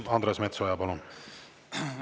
Andres Metsoja, palun!